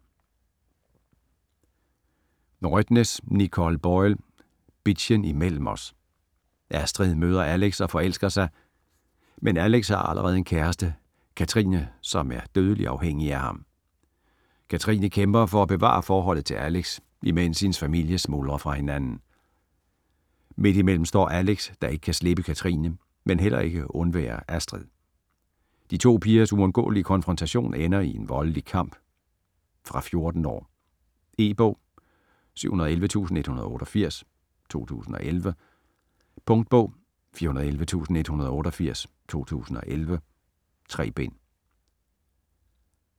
Rødtnes, Nicole Boyle: Bitchen imellem os Astrid møder Alex og forelsker sig, men Alex har allerede en kæreste, Katrine, som er dødeligt afhængig af ham. Katrine kæmper for at bevare forholdet til Alex, imens hendes familie smuldrer fra hinanden. Midt imellem står Alex, der ikke kan slippe Katrine, men heller ikke vil undvære Astrid. De to pigers uundgåelige konfrontation ender i en voldelig kamp. Fra 14 år. E-bog 711188 2011. Punktbog 411188 2011. 3 bind.